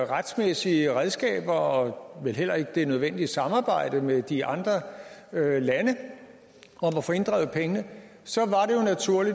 retsmæssige redskaber og vel heller ikke det nødvendige samarbejde med de andre lande om at få inddrevet pengene så